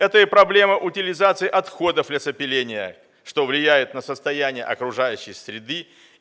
это и проблема утилизации отходов лесопиления что влияет на состояние окружающей среды